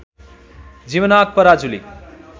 Jivnath Parajuli